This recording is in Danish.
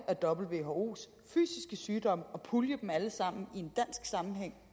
af whos fysiske sygdomme og pulje dem alle sammen